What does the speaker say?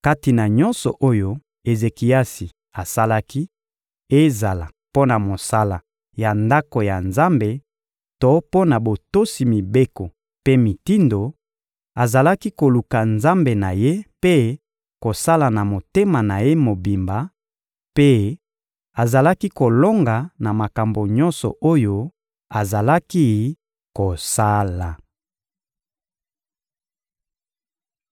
Kati na nyonso oyo Ezekiasi asalaki, ezala mpo na mosala ya Ndako ya Nzambe to mpo na botosi mibeko mpe mitindo, azalaki koluka Nzambe na ye mpe kosala na motema na ye mobimba; mpe azalaki kolonga na makambo nyonso oyo azalaki kosala.